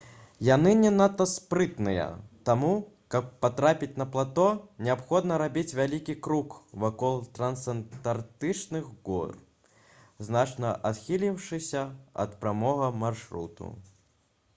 яны не надта спрытныя таму каб патрапіць на плато неабходна рабіць вялікі крук вакол трансантарктычных гор значна адхіліўшыся ад прамога маршруту